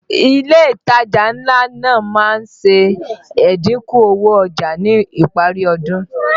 Ilé ìtajà ńlá náà má ń ṣe ẹ̀dínkù owó ọjà ní ìparí ọdún